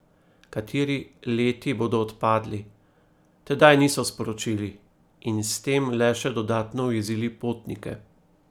Kateri leti bodo odpadli, tedaj niso sporočili in s tem le še dodatno ujezili potnike.